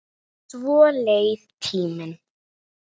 Svo leið tíminn.